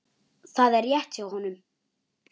Það er rétt hjá honum.